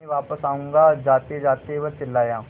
मैं वापस आऊँगा जातेजाते वह चिल्लाया